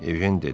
Ejen dedi: